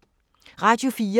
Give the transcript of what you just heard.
Radio 4